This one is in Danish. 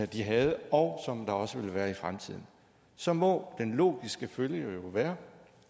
de havde og som der også ville være i fremtiden så må den logiske følge jo være